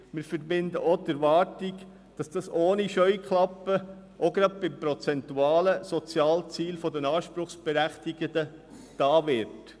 Wir verbinden auch die Erwartung damit, dass dies ohne Scheuklappen, gerade auch bei prozentualen Sozialzielen der Anspruchsberechtigten, getan wird.